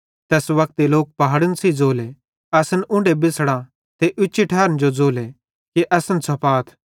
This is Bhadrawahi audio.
तैस वक्ते लोक पहाड़न सेइं ज़ोले असन उंढे बिछ़ड़ा ते उच्ची ठारन जो ज़ोले कि असन छ़पाथ